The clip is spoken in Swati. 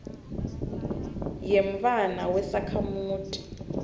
yemntfwana wesakhamuti